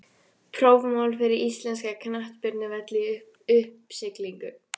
Prófmál fyrir íslenska knattspyrnuvelli í uppsiglingu?